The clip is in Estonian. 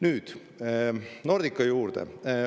Nüüd Nordica juurde.